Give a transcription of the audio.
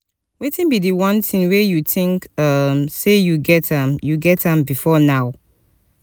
wetin be di one thing wey you think um say you get am you get am before now?